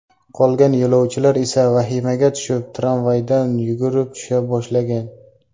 Qolgan yo‘lovchilar esa vahimaga tushib, tramvaydan yugurib tusha boshlagan.